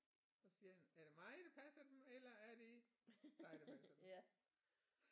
Og siger han er det mig der passer dem eller er det dig der passer dem